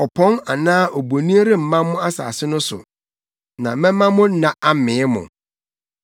Ɔpɔn anaa abonin remma mo asase no so na mɛma mo nna amee mo.